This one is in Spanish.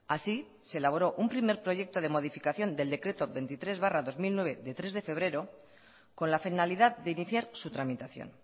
así se elaboró un primer proyecto de modificación del decreto veintitrés barra dos mil nueve de tres de febrero con la finalidad de iniciar su tramitación